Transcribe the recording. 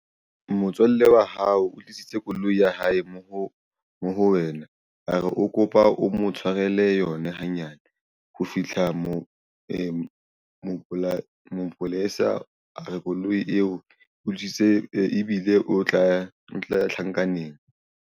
Motswalle wa hao o tlisitse koloi ya hae mo ho wena a re o kopa o mo tshwarele yona hanyane ho fihla mapolesa. Mapolesa a re koloi eo e utswitswe ebile o tla tjhankaneng.